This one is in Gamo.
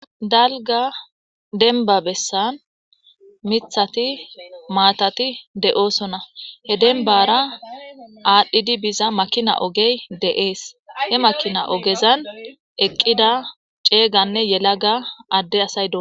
dalga denba bessan mithati maatati de7oosona he denbara aadhdhidi biza makina ogey de7ees he makina ogezan eqqida ceeyganne yelaga adde asay dos